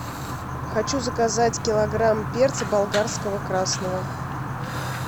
хочу заказать килограмм перца болгарского красного